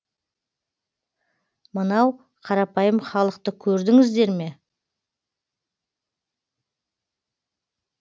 мынау қарапайым халықты көрдіңіздер ме